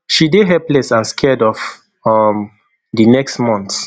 she dey helpless and scared of um di next months